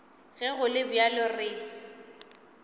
ge go le bjalo re